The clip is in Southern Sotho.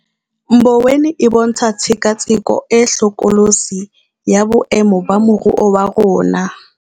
Mboweni e bontsha tshekatsheko e hlokolotsi ya boemo ba moruo wa rona.